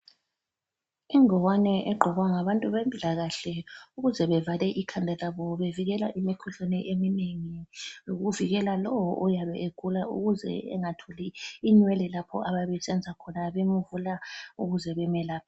Ingowane egqokwa ngabantu bempilakahle ukuze bevale ikhanda labo bevikela imikhuhlane eminengi lokuvikela lowo oyabe egula ukuze engatholi inwele lapha ababe besenza khona bemvula ukuze bemelaphe.